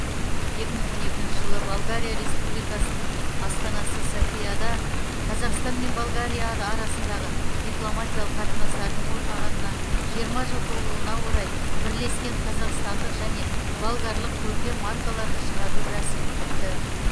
екі мың он екінші жылы болгария республикасының астанасы софияда қазақстан мен болгария арасындағы дипломатиялық қатынастардың орнағанына жиырма жыл толуына орай бірлескен қазақстандық және болгарлық көркем маркаларды шығару рәсімі өтті